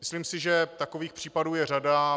Myslím si, že takových případů je řada.